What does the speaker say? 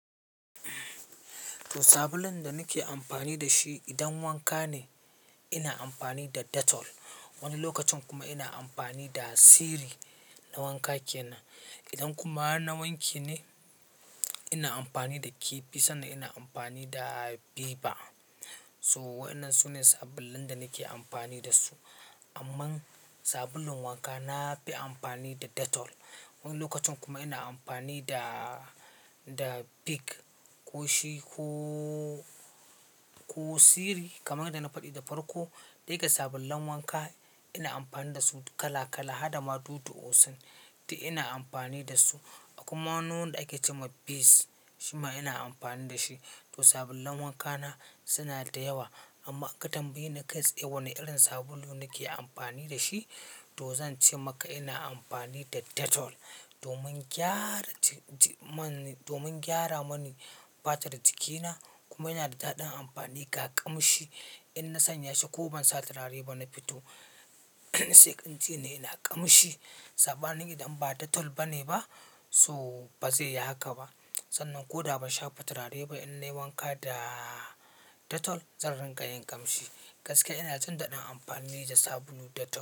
To sabulun da nake amfani da shi idan wanka ne ina amfani da Dettol wani lokacin kuma ina amfani da Siri na wanka ke nan. Idan kuma har na wanke ne ina amfani da kifi sannan ina amfani da viva. So waɗannan su ne sabulun da nake amfani da su. Amman sabulun wanka na fi amfani da Dettol wani lokacin kuma ina amfani da, da Pick ko shi ko, ko Siri kamar yadda na faɗi da farko. Dai ga sabulun wanka ina amfani da su kala kala, hada ma dudu Osun, duk ina amfani da su. Akwai ma wani wanda ake ce ma Peace shima ina amfani da shi. To sabulun wanka na suna da yawa. Amma ka tambaye ni kai tsaye wane irin sabulu nake amfani da shi to zan ce maka ina amfani da Dettol domin gyara ji, ji man, domin gyara mani fatar jikina kuma yana da daɗin amfani ga ƙamshi. In na sanya shi ko ban sa turare ba na fito sai anjini ina ƙamshi. Sabadin idan ba Dettol ba ne ba so ba zai yi haka ba. Sannan ko da ba shafa turare ba in nai wanka da Dettol zan rinƙa yin ƙamshi. Gaskiya ina jin daɗin amfani da sabulu Dettol.